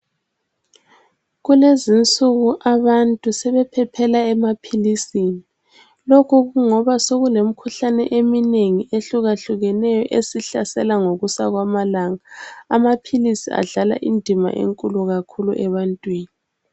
Kulezinsuku abantu sebephephela emaphilisini. Lokhu kungoba sekulemkhuhlane eminengi ehlukahlukeneyo esihlasela ngokusa kwamalanga. Amaphilisi adlala indima enkulu kakhulu ebantwini.